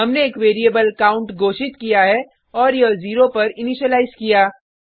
हमने एक variable count घोषित किया है और यह जीरो पर इनीशिलाइज किया